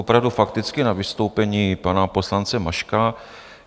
Opravdu fakticky na vystoupení pana poslance Maška.